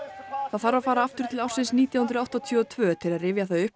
það þarf að fara aftur til ársins nítján hundruð áttatíu og tvö til að rifja það upp